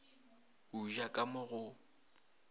o ja ka mo go